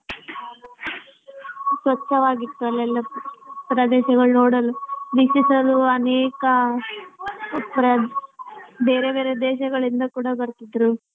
ಸ್ವಚ್ಚವಾಗಿತ್ತು ಅಲ್ಲೆಲ್ಲ ಪ್ರದೇಶಗಳು ನೋಡಲು ಅನೇಕ ಬೇರೆ ಬೇರೆ ದೇಶಗಳಿಂದ ಕೂಡ ಬರ್ತಿದ್ರು.